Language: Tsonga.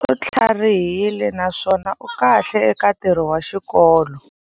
U tlharihile naswona u kahle eka ntirho wa xikolo.